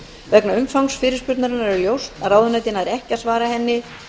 vegna umfangs fyrirspurnarinnar er ljóst að ráðuneytið nær ekki að svara henni